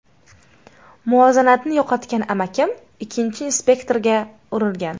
Muvozanatni yo‘qotgan amakim, ikkinchi inspektorga urilgan.